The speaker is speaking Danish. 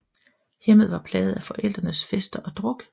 Hjemmet var plaget af forældrenes fester og druk